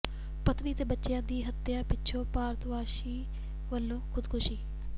ਪਤਨੀ ਤੇ ਬੱਚਿਆਂ ਦੀ ਹੱਤਿਆ ਪਿੱਛੋਂ ਭਾਰਤਵੰਸ਼ੀ ਵੱਲੋਂ ਖ਼ੁਦਕੁਸ਼ੀ